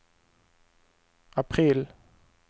april